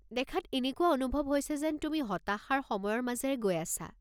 দেখাত এনেকুৱা অনুভৱ হৈছে যেন তুমি হতাশাৰ সময়ৰ মাজেৰে গৈ আছা।